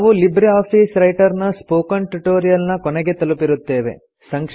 ನಾವು LibreOffice Writer ನ spoken tutorial ನ ಕೊನೆಯನ್ನು ತಲುಪಿರುತ್ತೇವೆ